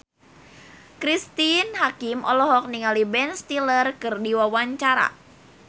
Cristine Hakim olohok ningali Ben Stiller keur diwawancara